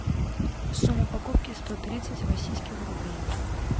сумма покупки сто тридцать российских рублей